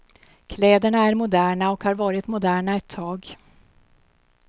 Kläderna är moderna och har varit moderna ett tag.